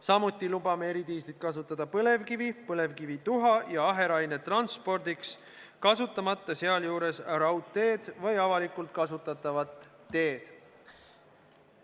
Samuti lubame eridiislit kasutada põlevkivi, põlevkivituha ja aheraine transpordiks, kasutamata sealjuures raudteed või avalikult kasutatavat teed.